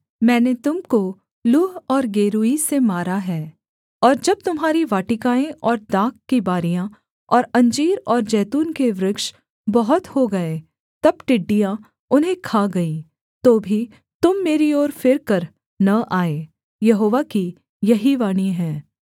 मैंने तुम को लूह और गेरूई से मारा है और जब तुम्हारी वाटिकाएँ और दाख की बारियाँ और अंजीर और जैतून के वृक्ष बहुत हो गए तब टिड्डियाँ उन्हें खा गईं तो भी तुम मेरी ओर फिरकर न आए यहोवा की यही वाणी है